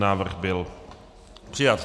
Návrh byl přijat.